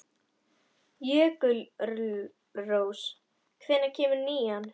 Jökulrós, hvenær kemur nían?